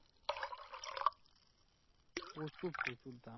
প্রচুর প্রচুর দাম